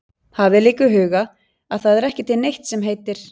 Hafið líka í huga að það er ekki til neitt sem heitir